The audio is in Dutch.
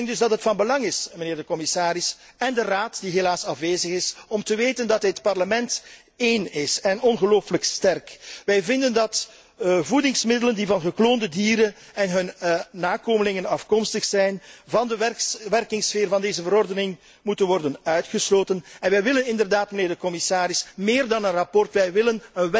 Ik denk dus dat het van belang is, mijnheer de commissaris, en de Raad, die helaas afwezig is, om te weten dat dit Parlement één is en ongelooflijk sterk. Wij vinden dat voedingsmiddelen die van gekloonde dieren en hun nakomelingen afkomstig zijn van de werkingssfeer van deze verordening moeten worden uitgesloten en wij willen inderdaad, mijnheer de commissaris, meer dan een verslag. Wij willen